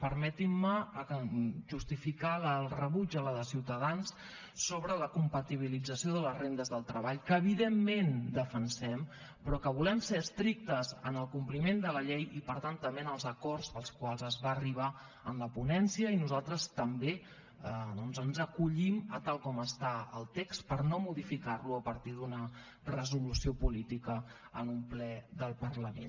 permetin me justificar el rebuig de la de ciutadans sobre la compatibilització de les rendes del treball que evidentment defensem però que volem ser estrictes amb el compliment de la llei i per tant també amb els acords als quals es va arribar en la ponència i nosaltres també doncs ens acollim a tal com està el tex per no modificar lo a partir d’una resolució política en un ple del parlament